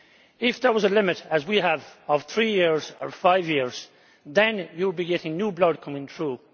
If there was a limit, as we have, of 3 years or 5 years, then you would be getting new blood coming through.